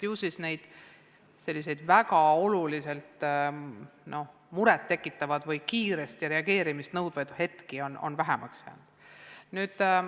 Ju siis on selliseid muret tekitavaid või kiiret reageerimist nõudvaid hetki vähemaks jäänud.